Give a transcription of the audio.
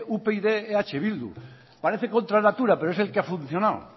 upyd eh bildu parece contra natura pero es el que ha funcionado